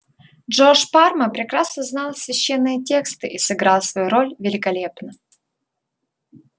джордж парма прекрасно знал священные тексты и сыграл свою роль великолепно